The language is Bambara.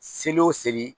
Seli o seli